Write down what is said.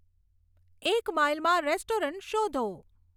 એક માઈલમાં રેસ્ટોરન્ટ શોધો